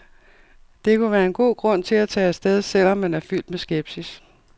Det kunne være en god grund til at tage afsted, selv om man er fyldt med skepsis.